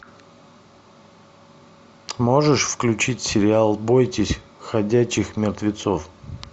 можешь включить сериал бойтесь ходячих мертвецов